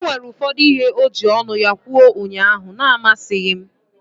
O nwere ụfọdụ ihe o jiri ọnụ ya kwuo ụnyaahụ na-amasịghị m.